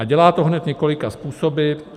A dělá to hned několika způsoby.